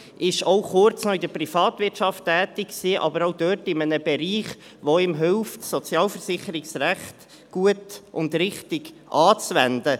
Er war auch noch kurz in der Privatwirtschaft tätig, aber auch dort in einem Bereich, der ihm hilft, das Sozialversicherungsrecht gut und richtig anzuwenden.